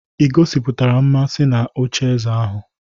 Ị gosipụtara mmasị na ocheeze ahụ?